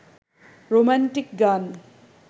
romantic গান